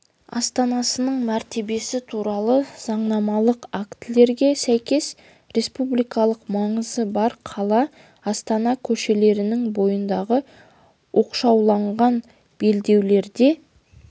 астанасының мәртебесі туралы заңнамалық актілерге сәйкес республикалық маңызы бар қала астана көшелерінің бойындағы оқшауланған белдеулерде